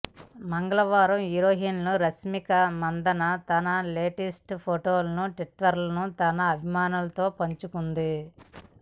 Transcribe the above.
మంగళవారం హీరోయిన్ రష్మిక మందన తన లేటెస్ట్ ఫోటోలను ట్విటర్లో తన అభిమానులతో పంచుకుంది